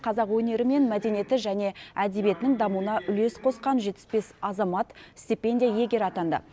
қазақ өнері мен мәдениеті және әдебиетінің дамуына үлес қосқан жетпіс бес азамат стипендия иегері атанды